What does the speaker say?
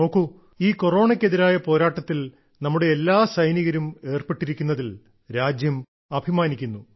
നോക്കൂ ഈ കൊറോണയ്ക്കെതിരായ പോരാട്ടത്തിൽ നമ്മുടെ എല്ലാ സൈനികരും ഏർപ്പെട്ടിരിക്കുന്നതിൽ രാജ്യം അഭിമാനിക്കുന്നു